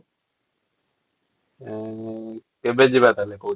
ଉଁ କେବେ ଯିବା ତାହେଲେ କହୁଚୁ ?